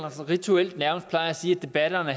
rituelt plejer at sige at debatterne